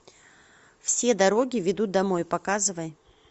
все дороги ведут домой показывай